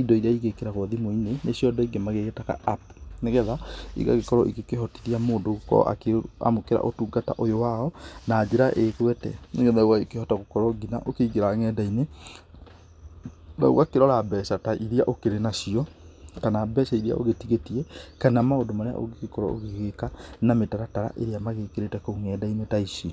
indo iria igĩkĩragwo thimu-inĩ, nicio Andũ aingĩ magĩgĩtaga App. Nĩgetha igagĩkorwo ikĩhotithia mũndũ gũkorwo akĩamũkĩra ũtungata ũyũ wao, na njĩra ĩgwete. Nĩgetha gũgagĩkĩhota gũkorwo nginya ũkĩingĩra ng'enda-inĩ, na ũgakĩrora mbeca ta iria ũkĩrĩ nacio, kana mbeca iria ũgĩtigĩtie, kana maũndũ marĩa ũngĩgĩkorwo ũgĩgĩka, na mitaratara irĩa magĩkĩrĩte kũu ng'enda-inĩ ta ici.